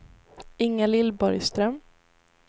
Inga-Lill Borgström